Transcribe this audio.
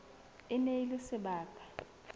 e ne e le sebaka